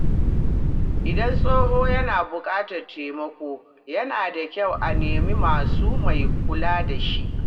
Idan tsoho yana buƙatar taimako, yana da kyau a nema masa mai kula da shi.